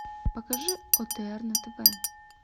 покажи отр на тв